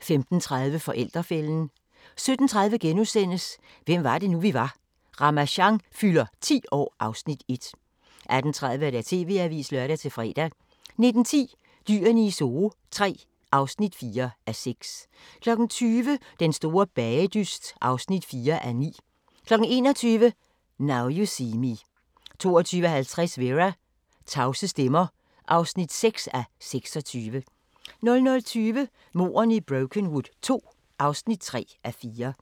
15:30: Forældrefælden 17:30: Hvem var det nu, vi var: Ramasjang fylder 10 år (Afs. 1)* 18:30: TV-avisen (lør-fre) 19:10: Dyrene i Zoo III (4:6) 20:00: Den store bagedyst (4:9) 21:00: Now You See Me 22:50: Vera: Tavse stemmer (6:26) 00:20: Mordene i Brokenwood II (3:4)